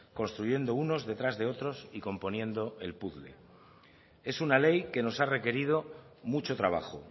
construyendo unos detrás de otros y componiendo el puzle es una ley que nos ha requerido mucho trabajo